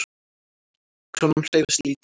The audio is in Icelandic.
Krónan hreyfist lítið